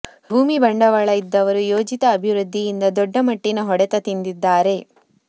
ಭೂಮಿ ಬಂಡವಾಳ ಇದ್ದವರು ಯೋಜಿತ ಅಭಿವೃದ್ಧಿಯಿಂದ ದೊಡ್ಡ ಮಟ್ಟಿನ ಹೊಡೆತ ತಿಂದಿದ್ದಾರೆ